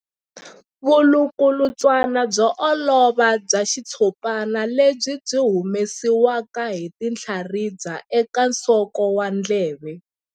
Vulukulutswana byo olova bya xitshopana lebyi byi humesiwaka hi tinhlaribya eka nsoko wa ndleve.